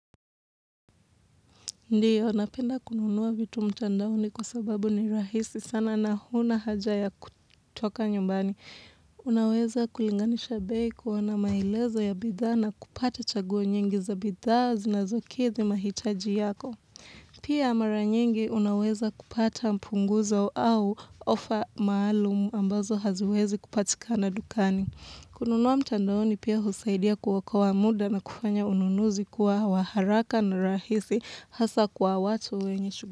Ndiyo, napenda kununuwa vitu mtandaoni kwa sababu ni rahisi sana na huna haja ya kutoka nyumbani. Unaweza kulinganisha bei kuona maelezo ya bidha na kupata chaguo nyingi za bidhaa zinazokithi mahitaji yako. Pia mara nyingi unaweza kupata mpunguzo au ofa maalumu ambazo haziwezi kupatikana dukani. Kununuwa mtandaoni pia husaidia kuokoa muda na kufanya ununuzi kuwa wa haraka na rahisi. Hasa kwa watu wenye shughuli.